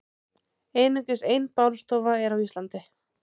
Einungis ein bálstofa er á Íslandi.